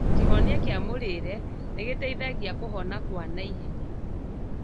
Kĩhonia kĩa mũrĩre nĩgĩteithagia kũhona kwa naihenya